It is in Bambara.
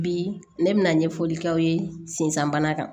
Bi ne bɛna ɲɛfɔli k'aw ye sensan bana kan